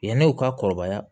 Yani u ka kɔrɔbaya